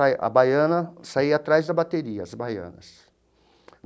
A baiana saía atrás da bateria, as baianas.